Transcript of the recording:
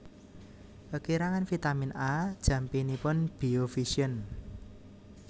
Kekirangan vitamin A jampinipun biovision